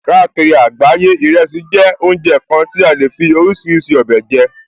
Káàkiri àgbáyé, ìrẹsì jẹ́ oúnjẹ kan ti a lè fí oríṣiríṣi ọbẹ̀ jẹ